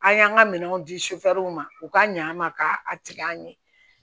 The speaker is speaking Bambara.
An y'an ka minɛnw di ma u ka ɲ'an ma k'a a tigɛ an ɲɛ